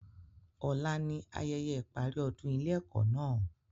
Ọ̀la ni ayẹyẹ ìparí ọdún ilé ẹ́kọ́ náà